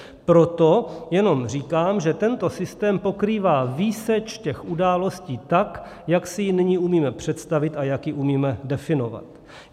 Proto jenom říkám, že tento systém pokrývá výseč těch událostí tak, jak si ji nyní umíme představit a jak ji umíme definovat.